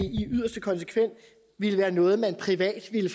yderste konsekvens ville være noget man privat ville